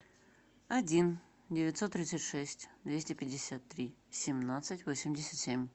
один девятьсот тридцать шесть двести пятьдесят три семнадцать восемьдесят семь